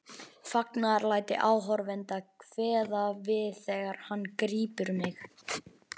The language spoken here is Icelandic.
Fagnaðarlæti áhorfenda kveða við þegar hann grípur mig.